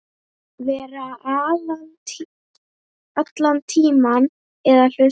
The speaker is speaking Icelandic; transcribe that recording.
Vera allan tímann eða hluta.